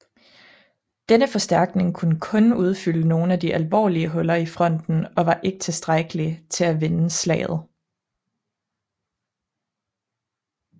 Denne forstærkning kunne kun udfylde nogle af de alvorlige huller i fronten og var ikke tilstrækkelig til at vende slaget